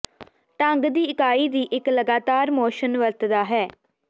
ਢੰਗ ਦੀ ਇਕਾਈ ਦੀ ਇੱਕ ਲਗਾਤਾਰ ਮੋਸ਼ਨ ਵਰਤਦਾ ਹੈ